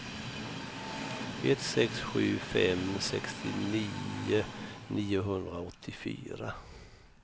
ett sex sju fem sextionio niohundraåttiofyra